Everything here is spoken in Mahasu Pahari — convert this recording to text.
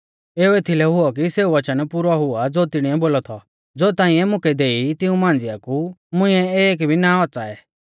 एऊ एथलै हुऔ कि सेऊ वचन पुरौ हुआ ज़ो तिणीऐ बोलौ थौ ज़ो ताइंऐ मुकै देई तिऊं मांझ़िआ कु मुंइऐ एक भी ना औच़ाऐ